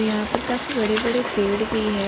यहां पर काफी बड़े बड़े पेड़ भी हैं।